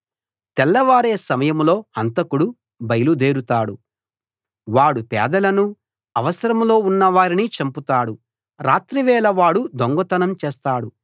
తెల్లవారే సమయంలో హంతకుడు బయలు దేరుతాడు వాడు పేదలను అవసరంలో ఉన్న వారిని చంపుతాడు రాత్రివేళ వాడు దొంగతనం చేస్తాడు